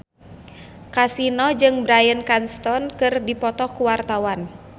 Kasino jeung Bryan Cranston keur dipoto ku wartawan